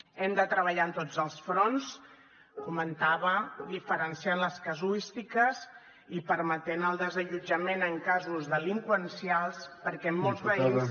hem de treballar en tots els fronts comentava diferenciant les casuístiques i permetent el desallotjament en casos delinqüencials perquè molts veïns